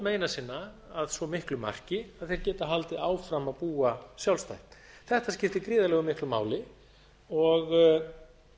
meina sinna að svo miklu marki að þeir geta haldið áfram að búa sjálfstætt þetta skiptir gríðarlega miklu máli og